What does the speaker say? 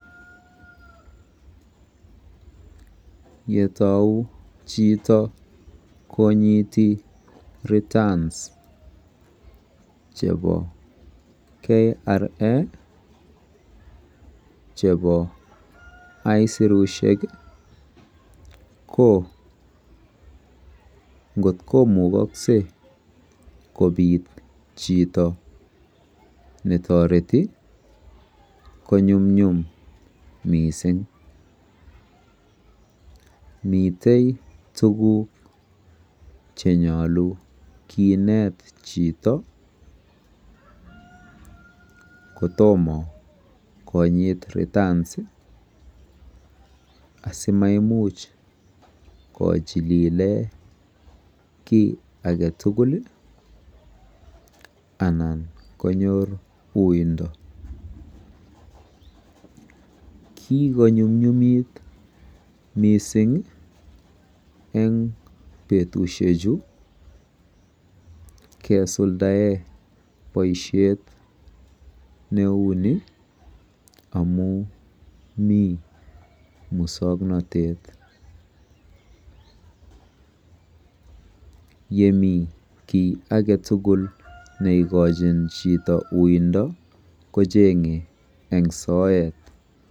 Yetou chito konyiti returns chebo KRA chebo isurushek ko kotkomukokse kobit chito netoreti konyumyum missing, miten tukuk cheyolu kinet chito kotomo konyit returns asimaimuch kochillilen kii agetukul anan konyor wouindo. Kikonyumnyumit missing en betushek chuu kesuldaen boishet neuni amin Mii muswoknotet yemii kii agetukul neikochin chito uindo kechenge en soet.